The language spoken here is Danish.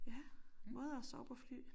Ja måder at sove på fly